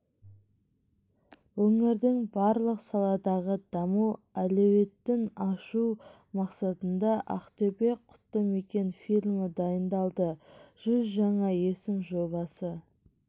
өңірдің барлық саладағы даму әлеуетін ашу мақсатында ақтөбе-құтты мекен фильмі дайындалды жүз жаңа есім жобасы